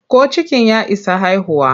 Ko cikin ya isa haihuwa?